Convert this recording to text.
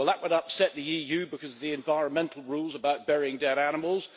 Well that would upset the EU because of the environmental rules about burying dead animals.